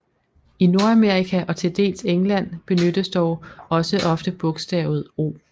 I Nordamerika og til dels England benyttes dog også ofte bogstavet O